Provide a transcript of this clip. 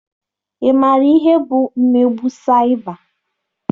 Ị maara ihe bụ mmegbu saịba?